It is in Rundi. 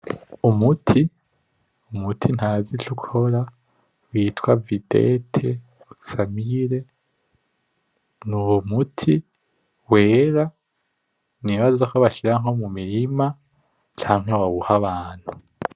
Umuti, umuti ntazi ico ukora witwa videte famire, nuwo muti wera nibaza kobashira nko mumirima canke bawuha abantu.